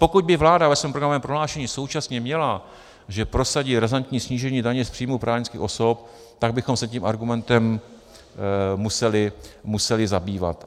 Pokud by vláda ve svém programovém prohlášení současně měla, že prosadí razantní snížení daně z příjmů právnických osob, tak bychom se tím argumentem museli zabývat.